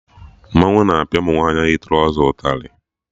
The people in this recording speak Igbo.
Mmanwụ na-apịa ụmụ nwaanyị yi trọza ụtarị